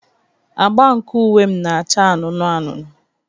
Agba nke uwe m na-acha anụnụ anụnụ.